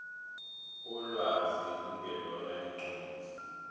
ulwazi lungelona iqiniso